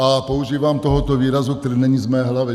A používám tohoto výrazu, který není z mé hlavy.